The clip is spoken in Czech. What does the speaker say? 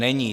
Není.